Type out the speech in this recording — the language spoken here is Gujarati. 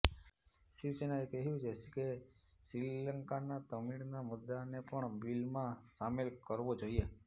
શિવસેનાએ કહ્યું છે કે શ્રીલંકાના તમિળના મુદ્દાને પણ બિલમાં શામેલ કરવો જોઈએ